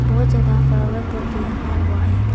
बहुत ज्यादा flower pot भी रखा हुआ है।